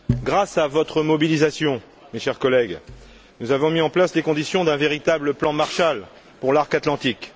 Grâce à votre mobilisation, chers collègues, nous avons mis en place les conditions d'un véritable plan Marshall pour l'arc atlantique.